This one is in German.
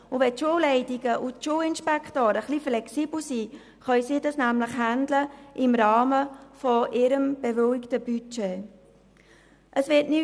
Wenn die Schulleitungen und die Schulinspektoren ein bisschen flexibel sind, können sie dies im Rahmen des bewilligten Budgets handhaben.